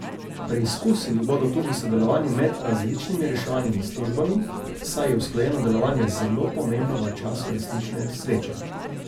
Preizkusili bodo tudi sodelovanje med različnimi reševalnimi službami, saj je usklajeno delovanje zelo pomembno v času resnične nesreče.